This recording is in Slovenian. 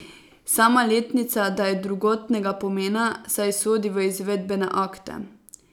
Sama letnica da je drugotnega pomena, saj sodi v izvedbene akte.